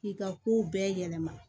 K'i ka kow bɛɛ yɛlɛma